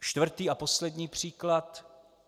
Čtvrtý a poslední příklad.